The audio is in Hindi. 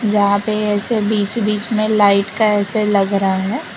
जहां पे ऐसे बीच-बीच में लाइट का ऐसे लग रहा है।